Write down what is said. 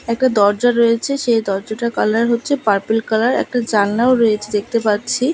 একটা দরজা রয়েছে সেই দরজাটার কালার হচ্ছে পার্পেল কালার একটা জানলাও রয়েছে দেখতে পাচ্ছি।